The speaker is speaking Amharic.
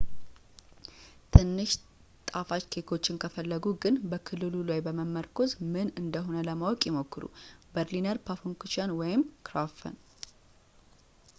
ትንሽ ጣፋጭ ኬክዎችን ከፈለጉ ግን በክልሉ ላይ በመመርኮዝ ምን እንደ ሆነ ለማወቅ ይሞክሩ በርሊነር ፓፋንኩቸን ወይም ክራፕፈን